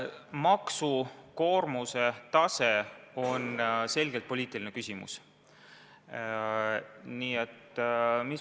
Maksukoormuse suurus on selgelt poliitiline küsimus.